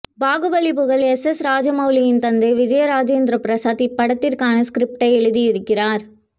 பாகுபலி புகழ் எஸ்எஸ் ராஜமௌலியின் தந்தை விஜயேந்திர பிரசாத் இப்படத்திற்கான ஸ்க்ரிப்ட்டை எழுதியிருக்கிறார்